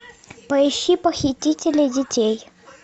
поищи похитители детей